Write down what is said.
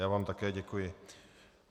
Já vám také děkuji.